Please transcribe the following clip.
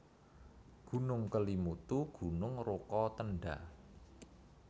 Gunung KelimutuGunung Rokatenda